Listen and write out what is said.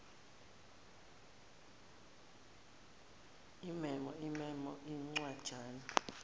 imemo imemo incwajana